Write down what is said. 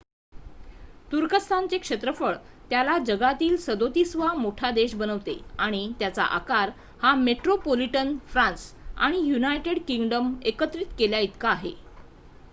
तुर्कस्थानचे क्षेत्रफळ त्याला जगातील 37 वा मोठा देश बनवते आणि त्याचा आकार हा मेट्रोपोलिटन फ्रान्स आणि यूनायटेड किंगडम एकत्रित केल्या इतका आहे